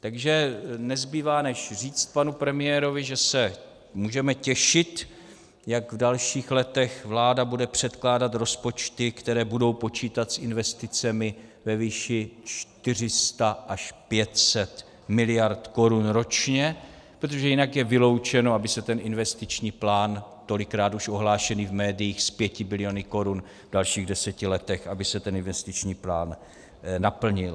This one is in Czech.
Takže nezbývá, než říct panu premiérovi, že se můžeme těšit, jak v dalších letech vláda bude předkládat rozpočty, které budou počítat s investicemi ve výši 400 až 500 miliard korun ročně, protože jinak je vyloučeno, aby se ten investiční plán, tolikrát už ohlášený v médiích, s 5 biliony korun v dalších deseti letech, aby se ten investiční plán naplnil.